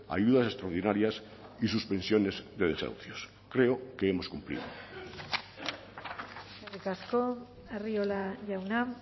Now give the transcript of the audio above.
ayudas extraordinarias y suspensiones de desahucios creo que hemos cumplido eskerrik asko arriola jauna